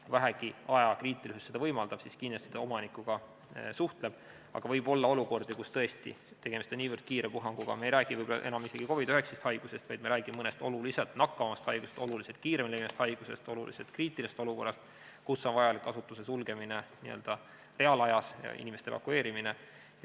Kui vähegi ajakriitilisus seda võimaldab, siis kindlasti ta omanikuga suhtleb, aga võib olla olukordi, kus tõesti on tegemist niivõrd kiire puhanguga – me ei räägi võib-olla enam isegi COVID-19 haigusest, vaid me räägime mõnest oluliselt nakkavamast haigusest, oluliselt kiiremini levivast haigusest, oluliselt kriitilisemast olukorrast –, et on vajalik asutuse sulgemine n-ö reaalajas ja inimeste evakueerimine.